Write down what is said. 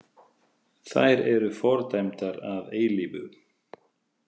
Þær eru fordæmdar að eilífu.